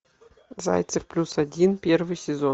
зайцев плюс один первый сезон